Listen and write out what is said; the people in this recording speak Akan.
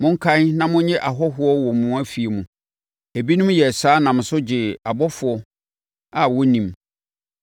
Monkae na monnye ahɔhoɔ wɔ mo afie mu. Ebinom yɛɛ saa nam so gyee abɔfoɔ a na wɔnnim.